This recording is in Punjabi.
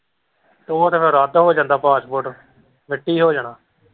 ਉਹ ਤੇ ਫਿਰ ਅੱਧ ਹੋ ਜਾਂਦਾ passport ਮਿੱਟੀ ਹੋ ਜਾਣਾ।